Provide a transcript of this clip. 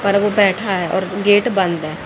पर वो बैठा है और गेट बंद है।